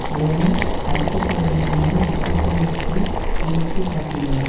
சோதனை நடத்தப்பட வேண்டியதின் முக்கியத்துவம் பற்றி கோடிட்டு காட்டியுள்ளன